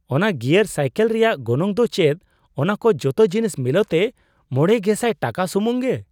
ᱚᱱᱟ gear cycle ᱨᱮᱭᱟᱜ ᱜᱚᱱᱚᱝ ᱫᱚ ᱪᱮᱫ ᱚᱱᱟᱠᱚ ᱡᱚᱛᱚ ᱡᱤᱱᱤᱥ ᱢᱤᱞᱟᱹᱣᱛᱮ ᱕᱐᱐᱐ ᱴᱟᱠᱟ ᱥᱩᱢᱩᱝ ᱜᱮ ?